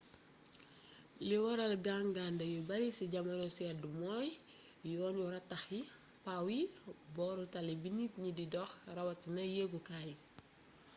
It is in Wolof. li waral gangande yu bare ci jamono sedd mooy yoon yu rataax yi pawe yi booru tali bi nit ñi di dox raawatina yegkay yi